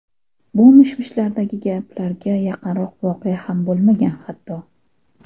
Bu mish-mishlardagi gaplarga yaqinroq voqea ham bo‘lmagan hatto.